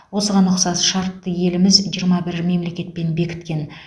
осыған ұқсас шартты еліміз жиырма бір мемлекетпен бекіткен